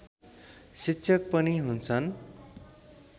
शिक्षक पनि हुन्छन्